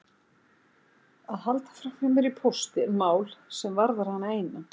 Að halda framhjá mér í pósti er mál sem varðar hana eina.